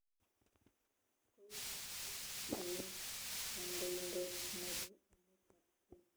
Koigat bikaap emet kandoindet nebo emetab kenya